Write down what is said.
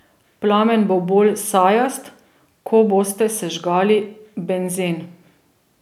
Plamen bo bolj sajast, ko boste sežgali benzen.